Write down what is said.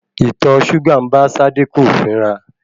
Ìtọ súgà ń bá Sádíkù fínra.